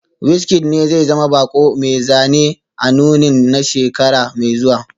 WizKid ne zai zama bako mai zane a nunin na shekara mai zuwa